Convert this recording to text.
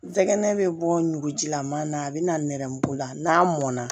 N tɛgɛnɛ bɛ bɔ ngujilaman na a bɛ na nɛrɛmugu la n'a mɔn na